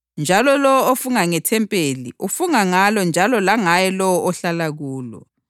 Njalo lowo ofunga ngethempeli ufunga ngalo njalo langaye lowo ohlala kulo.